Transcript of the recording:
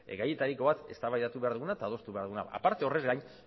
gaietariko bat eztabaidatu behar duguna eta adostu behar duguna horrez gain